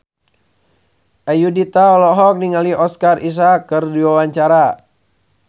Ayudhita olohok ningali Oscar Isaac keur diwawancara